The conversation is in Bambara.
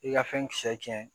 I ka fɛn kisɛ tiɲɛ